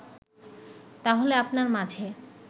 তাহলে আপনার মাঝে